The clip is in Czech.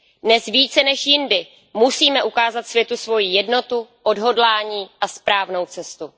Dnes více než jindy musíme ukázat světu svoji jednotu, odhodlání a správnou cestu.